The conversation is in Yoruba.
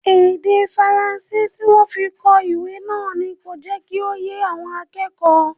Èdè Faransé tí wọ́n fi kọ ìwé náà ni kò jẹ́ kí ó yé àwọn akẹ́kọ̀ọ́